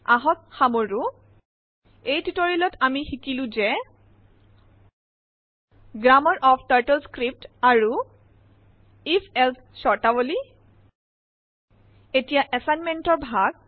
আহক সামৰো এই টিউটৰিয়েল ত আমি সিকিলো যে গ্ৰাম্মাৰ অফ টাৰ্টল স্ক্ৰিপ্ট আৰু if এলছে স্বৰ্তাৱলী এতিয়া এছাইনমেটৰ ভাগ